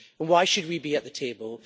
Why should we be at the table?